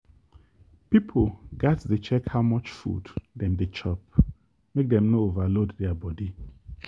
people gats dey check how much food dem dey chop make dem no overload their body.